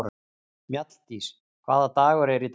Mjalldís, hvaða dagur er í dag?